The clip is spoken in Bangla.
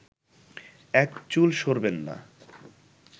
এক চুল সরবেননা